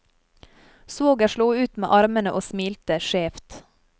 Svoger slo ut med armene og smilte skjevt.